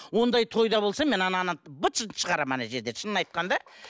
ондай тойда болсам мен ананы быт шытын шығарамын ана жерде шынын айтқанда